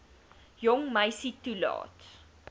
jong meisie toelaat